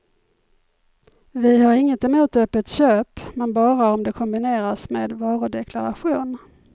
Vi har inget emot öppet köp, men bara om det kombineras med varudeklaration.